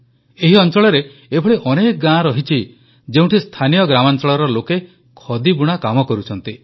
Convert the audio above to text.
ଏହି ଅଂଚଳରେ ଏଭଳି ଅନେକ ଗାଁ ରହିଛି ଯେଉଁଠି ସ୍ଥାନୀୟ ଗ୍ରାମାଂଚଳର ଲୋକେ ଖଦି ବୁଣା କାମ କରୁଛନ୍ତି